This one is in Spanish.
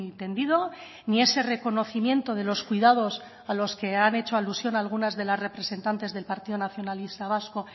tendido ni ese reconocimiento de los cuidados a los que han hecho alusión algunas de las representantes del partido nacionalista vasco